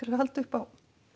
að halda upp á